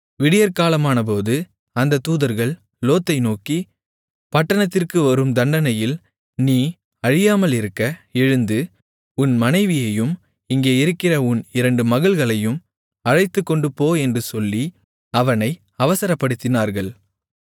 விடியற்காலமானபோது அந்தத் தூதர்கள் லோத்தை நோக்கி பட்டணத்திற்கு வரும் தண்டனையில் நீ அழியாமலிருக்க எழுந்து உன் மனைவியையும் இங்கே இருக்கிற உன் இரண்டு மகள்களையும் அழைத்துக்கொண்டுபோ என்று சொல்லி அவனை அவசரப்படுத்தினார்கள்